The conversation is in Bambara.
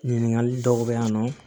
Ɲininkali dɔw bɛ yan nɔ